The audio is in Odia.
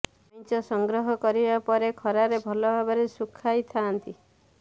କାଇଁଚ ସଂଗ୍ରହ କରିବା ପରେ ଖରାରେ ଭଲ ଭାବରେ ଶୁଖାଇଥାଆନ୍ତି